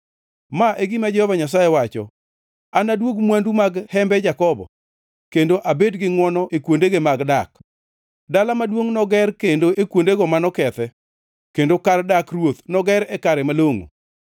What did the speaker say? “Ma e gima Jehova Nyasaye wacho: “ ‘Anaduog mwandu mag hembe Jakobo kendo abed gi ngʼwono e kuondege mag dak; dala maduongʼ noger kendo e kuondege mano okethe, kendo kar dak ruoth noger e kare malongʼo.